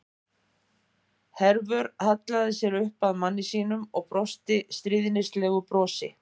Hervör hallaði sér upp að manni sínum og brosti stríðnislegu brosi.